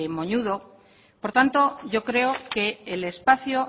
moñudo por tanto yo creo que el espacio